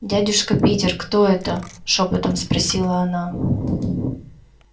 дядюшка питер кто это шёпотом спросила она